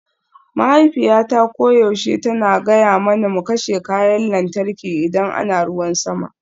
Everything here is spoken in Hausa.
Mahaifiyata koyaushe tana gaya mana mu kashe kayan lantarki idan ana ruwan sama